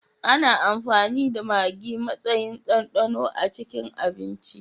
Ana amfani da Magi matsayin dandano a cikin abinci.